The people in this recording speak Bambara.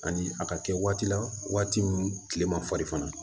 Ani a ka kɛ waati la waati min tile ma farin fana